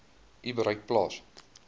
u bereik plaas